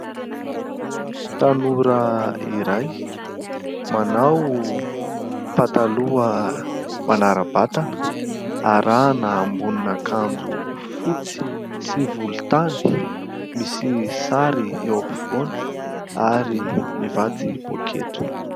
Tanora iray manao "pantalon" manara-batana arahana amboniny akanjo fotsy sy volontany misy sary eo ampivoany ary mivatsy poketra.